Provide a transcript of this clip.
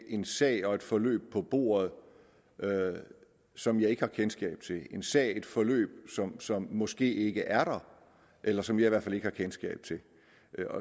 en sag og et forløb på bordet som jeg ikke har kendskab til en sag og et forløb som som måske ikke er der eller som jeg i hvert fald ikke har kendskab til